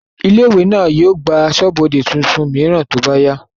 ilé ìwé náà yóò gba asọ́bọdè tuntun mìíràn tí ó bá yá